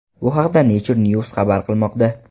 Bu haqda Nature News xabar qilmoqda .